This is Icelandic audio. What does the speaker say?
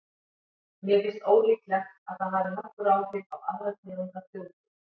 En mér finnst ólíklegt að það hafi nokkur áhrif á aðra tegund af þjóðtrú.